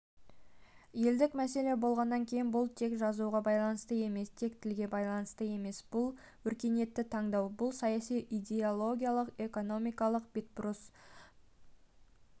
елдік мәселе болғаннан кейін бұл тек жазуға байланысты емес тек тілге байланысты емес бұл өркениетті таңдау бұл саяси идеологиялық экономикалық бетбұрыс